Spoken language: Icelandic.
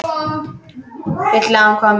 Vill að hún komi.